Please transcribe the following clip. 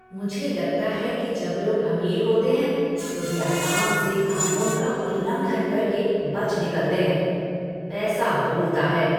मुझे लगता है कि जब लोग अमीर होते हैं तो वे आराम से कानून का उल्लंघन करके बच निकलते हैं। पैसा बोलता है!